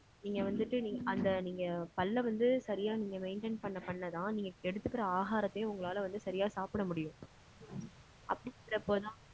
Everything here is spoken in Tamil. நீங்க வந்துட்டு நீங்~ அந்த நீங்க பல்ல வந்து சரியா நீங்க maintain பண்ண பண்ண தான் நீங்க எடுத்துக்கிற ஆகாரத்தையும் உங்களால வந்து சரியா சாப்பிட முடியும். அப்டிங்கறப்போதான்